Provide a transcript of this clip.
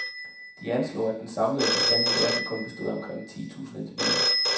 De anslog, at den samlede bestand i verden kun bestod af omkring ti tusind individer.